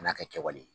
Kan'a kɛwale